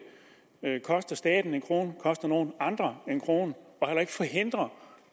koster staten en krone eller koster nogen andre en krone og heller ikke forhindrer